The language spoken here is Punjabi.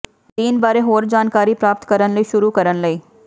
ਦੀਨ ਬਾਰੇ ਹੋਰ ਜਾਣਕਾਰੀ ਪ੍ਰਾਪਤ ਕਰਨ ਲਈ ਸ਼ੁਰੂ ਕਰਨ ਲਈ